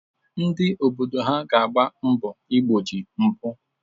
Ndị obodo ha ga-agba mbọ igbochi mpụ?